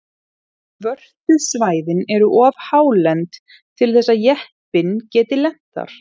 Svörtu svæðin eru of hálend til þess að jeppinn geti lent þar.